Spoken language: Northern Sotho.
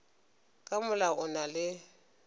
ka molao o na le